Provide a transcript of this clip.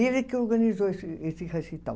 E ele que organizou esse esse recital.